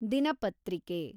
ದಿನಪತ್ರಿಕೆ